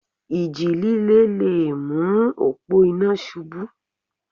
Ìjì líle le mú òpó iná ṣubú.